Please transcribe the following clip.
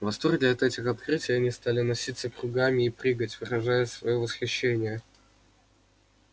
в восторге от этих открытий они стали носиться кругами и прыгать выражая своё восхищение